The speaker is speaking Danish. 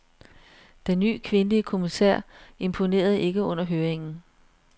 Den ny kvindelige kommissær imponerede ikke under høringen.